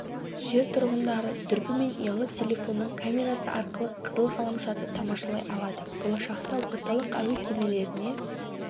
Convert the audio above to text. жер тұрғындары дүрбі мен ұялы телефонның камерасы арқылы қызыл ғаламшарды тамашалай алады болашақта орталық әуе кемелеріне